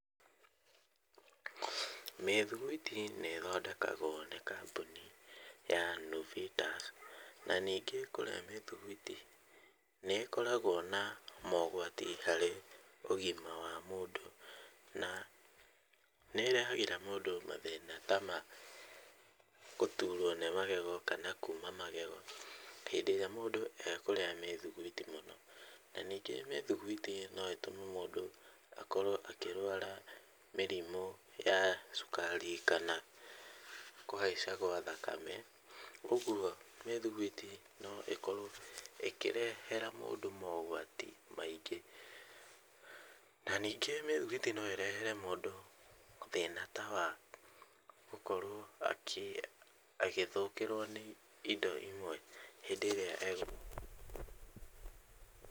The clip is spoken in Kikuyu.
Mĩthuguiti nĩ ĩthondekagwo nĩ kambũni ya Nuvita, na ningĩ kũrĩa mĩthiguiti nĩ ĩkoragwo na mogwati harĩ ũgima wa mũndũ, na nĩ ĩrehagĩra mũndũ mathĩna ta ma gũturwo nĩ magego kana kuuma magego, hĩndĩ ĩrĩa mũndũ akũrĩa mĩthuguiti mũno , na ningĩ mĩthuguiti no ĩtũme mũndũ akorwo akĩrwara mĩrimũ ya cukari kana kũhaica gwa thakame, ũgwo mĩthiguiti no ĩkorwo ĩkĩrehera mũndũ mogwati maingĩ, na ningĩ mĩthiguiti no ĩrehere mũndũ thĩna ta wagũkorwo akĩ agĩthũkĩrwo nĩ indo imwe , hĩndĩ ĩrĩa eg.